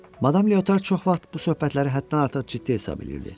Madam Lyotar çox vaxt bu söhbətləri həddən artıq ciddi hesab eləyirdi.